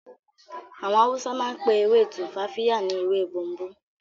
Àwọn Hausa máa ń pe ewé tumfafiya ni"ewe bomubomu"